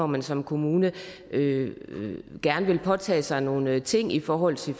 man som kommune gerne vil påtage sig nogle ting i forhold til